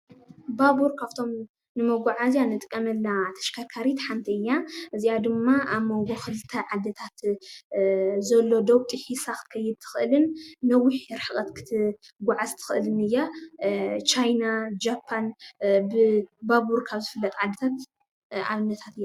ባቡር ካፍቶም ንመጉዓዝያ እንጥቀመላ ተሽከርካሪት ሓንቲ እያ ።እዚኣ ድማ ኣብ ሞንጎ ኽልተ ዓዲታት ዘሎ ዶብ ጢሒሳ ክትኸይድ ትኽእልን ነዊሕ ርሕቀት ክትጉዓዝ ትኽእልን እያ። ቻይና፣ ጃፓን ብ ባቡር ካብ ዝፍለጣ ዓዲታት ኣብነታት እየን።